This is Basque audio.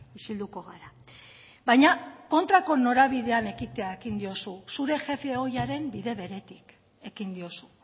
isilduko gara baina kontrako norabidean ekitea ekin diozu zure jefe ohiaren bide beretik ekin diozu